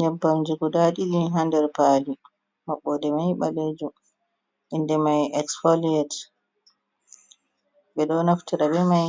Ƴebbamji guda ɗiɗi hander pali, maɓɓoɗe mai ɓalejum. inde mai espaliyet ɓeɗo naftira ɓe mai